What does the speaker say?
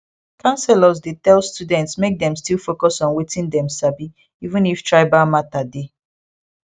counselors dey tell students make dem still focus on wetin dem sabi even if tribal matter dey